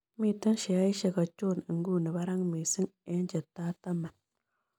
Miten sheaisiek achon inguni barak missing' eng' chetaa taman